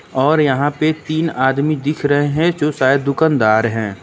और यहां पे तीन आदमी दिख रहे है जो शायद दुकानदार है।